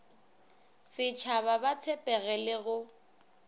setshaba ba tshepege le go